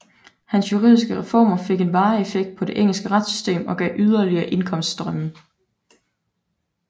Hans juridiske reformer fik en varig effekt på det engelske retssystem og gav yderligere indkomststrømme